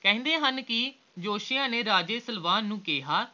ਕਹਿੰਦੇ ਹਨ ਕੇ ਜੋਤਸ਼ੀਆਂ ਨੇ ਰਾਜੇ ਸਲਵਾਨ ਨੂੰ ਕਿਹਾ